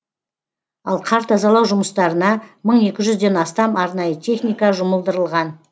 ал қар тазалау жұмыстарына мың екі жүзден астам арнайы техника жұмылдырылған